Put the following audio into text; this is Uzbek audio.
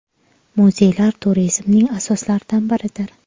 Muzeylar turizmning asoslaridan biridir.